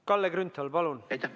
Kalle Grünthal, palun!